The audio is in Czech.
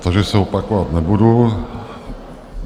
Takže se opakovat nebudu.